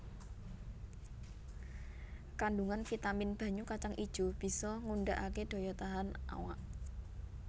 Kandungan vitamin banyu kacang ijo bisa ngundakake daya tahan awak